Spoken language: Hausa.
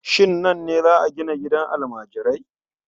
Shin nan ne za a gina gidan almajirai?